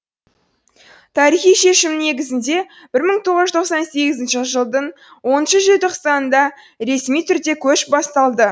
тарихи шешімнің негізінде бір мың тоғыз жүз тоқсан сегізінші жылдың оныншы желтоқсанында ресми түрде көш басталды